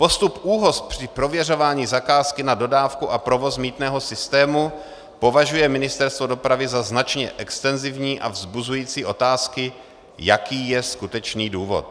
"Postup ÚOHS při prověřování zakázky na dodávku a provoz mýtného systému považuje Ministerstvo dopravy za značně extenzivní a vzbuzující otázky, jaký je skutečný důvod."